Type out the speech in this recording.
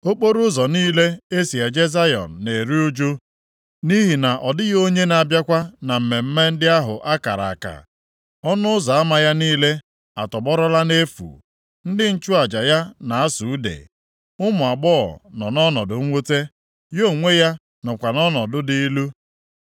Okporoụzọ niile e si eje Zayọn na-eru ụjụ, nʼihi na ọ dịghị onye na-abịakwa na mmemme ndị ahụ a kara aka. Ọnụ ụzọ ama ya niile atọgbọrọla nʼefu, ndị nchụaja ya na-asụ ude, ụmụ agbọghọ nọ nʼọnọdụ mwute, ya onwe ya nọkwa nʼọnọdụ dị ilu.